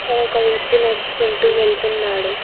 అక్కడ ఒక వ్యక్తి నడుచుకుంటూ వెళ్తున్నాడు.